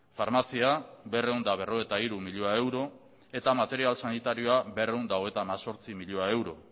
farmazia berrehun eta berrogeita hiru milioi euro eta material sanitarioa berrehun eta hogeita hemezortzi milioi euro